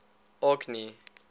orkney